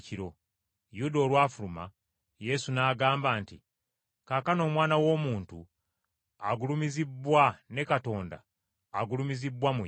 Yuda olwafuluma, Yesu n’agamba nti, “Kaakano Omwana w’Omuntu agulumizibbwa ne Katonda agulumizibbwa mu ye.